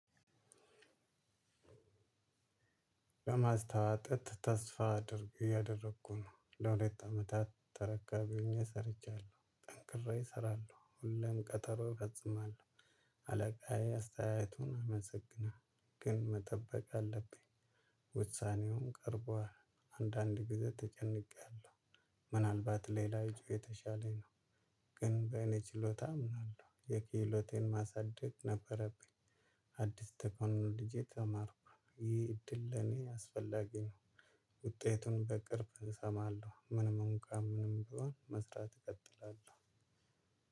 ለማስታወቅ ጥጥ ተስፋ አድርግ እያደረኩ ነው ለሁለት አመታት ተረካቢ ሆኘ ሰርቻለሁ ጠንክሬ እሰራለሁ ሁሌም ቀጠሮ እፈጽማለሁ። አለቃዬ አስተያየቱን ያመሰግናል ግን መጠበቅ አለብኝ። ውሳኔውም ቀርቧል አንዳንድ ጊዜ ተጨንቄያለሁ። ምናልባትሌላ የተሻለ ነው። ግን በእኔ ችሎታ አምናለሁ የክህሎቴን ማሳደግ ነበረብኝ። አዲስ ተክኖሎጂ ተማርኩ ይህ እድል ለኔ አስፈላጊ ነው። ውጤቱን በቅርብ እሰማለሁ ምንም እንኳን ምንም ቢሆን መስራት እቀጥላለሁ።